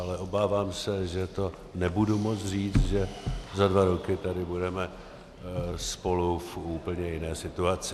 Ale obávám se, že to nebudu moct říct, že za dva roky tady budeme spolu v úplně jiné situaci.